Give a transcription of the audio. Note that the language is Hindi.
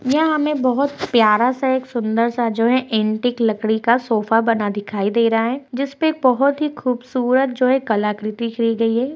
यह हमे बहुत प्यारा सा एक सुंदर सा जो है एंटीक लकड़ी का सोफा बना दिखाई दे रहा है। जिसपे एक बहुत ही खूबसूरत जो है कलाकृति की गयी है |